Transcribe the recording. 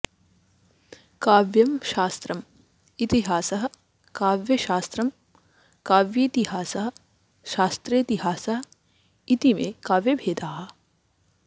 काव्यम् शास्त्रं इतिहासः काव्यशास्रं काव्येतिहासः शास्त्रेतिहासः इतीमे काव्यभेदाः